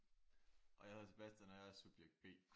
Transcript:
Og jeg hedder Sebastian og jeg er subjekt B